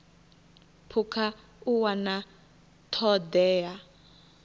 phukha u wana ṱho ḓea